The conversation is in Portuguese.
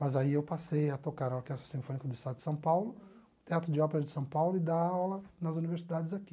Mas aí eu passei a tocar na Orquestra Sinfônica do Estado de São Paulo, Teatro de Ópera de São Paulo e dar aula nas universidades aqui.